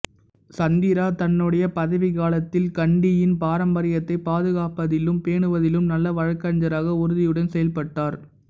சந்திரா தன்னுடைய பதவிக்காலத்தில் கண்டியின் பாரம்பரியத்தைப் பாதுகாப்பதிலும் பேணுவதிலும் நல்ல வழக்குரைஞராக உறுதியுடன் செயல்பட்டார்